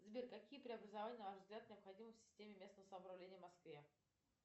сбер какие преобразования на ваш взгляд необходимы в системе местного самоуправления в москве